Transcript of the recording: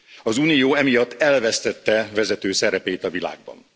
Az Unió emiatt elvesztette vezető szerepét a világban.